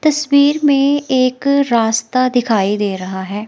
तस्वीर में एक रास्ता दिखाई दे रहा है।